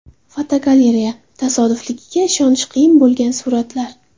Fotogalereya: Tasodifligiga ishonish qiyin bo‘lgan suratlar.